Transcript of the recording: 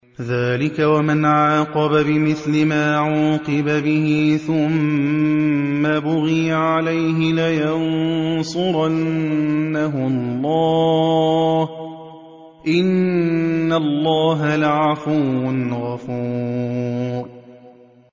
۞ ذَٰلِكَ وَمَنْ عَاقَبَ بِمِثْلِ مَا عُوقِبَ بِهِ ثُمَّ بُغِيَ عَلَيْهِ لَيَنصُرَنَّهُ اللَّهُ ۗ إِنَّ اللَّهَ لَعَفُوٌّ غَفُورٌ